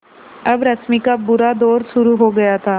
अब रश्मि का बुरा दौर शुरू हो गया था